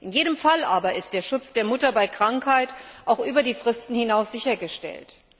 In jedem Fall aber ist der Schutz der Mutter bei Krankheit auch über die Fristen hinaus sichergestellt.